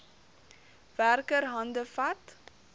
werker hande vat